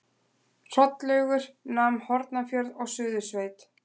Hrollaugur nam Hornafjörð og Suðursveit.